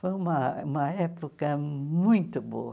Foi uma uma época muito boa.